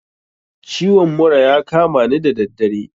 Ciwon mura ya kamani da daddare